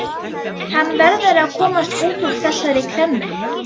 Hann verður að komast út úr þessari klemmu.